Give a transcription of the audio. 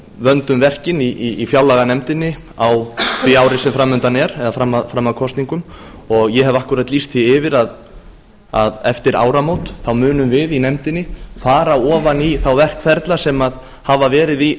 vöndum verkin í fjárlaganefndinni á því ári sem framundan er eða fram að kosningum ég hef einmitt lýst því yfir að eftir áramót munum við í nefndinni fara ofan í þá verkferla sem hafa verið í